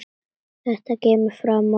Þetta kemur fram á Vísi.